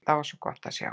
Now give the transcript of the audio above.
Það var gott að sjá.